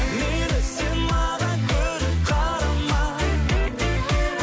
мейлі сен маған күліп қарама